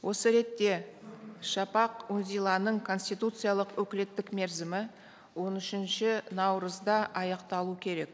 осы ретте шапақ үнзиланың конституциялық өкілеттік мерзімі он үшінші наурызда аяқталу керек